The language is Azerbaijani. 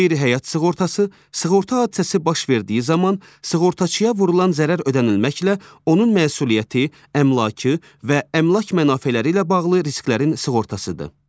Qeyri-həyat sığortası sığorta hadisəsi baş verdiyi zaman sığortaçıya vurulan zərər ödənilməklə onun məsuliyyəti, əmlakı və əmlak mənafeləri ilə bağlı risklərin sığortasıdır.